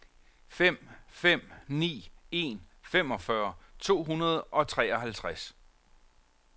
fem fem ni en femogfyrre to hundrede og treoghalvtreds